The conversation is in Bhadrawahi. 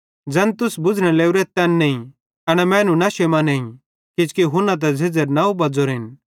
ज़ैन तुस बुझ़ने लोरेथ तैन नईं एना मैनू नशे मां नईं किजोकि हुन्ना त झ़ेझ़ेरे नौ बज़ोरेन